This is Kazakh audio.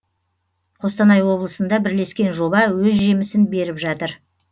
қостанай облысында бірлескен жоба өз жемісін беріп жатыр